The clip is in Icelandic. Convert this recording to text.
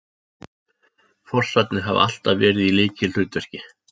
Fossarnir hafa alltaf verið í lykilhlutverki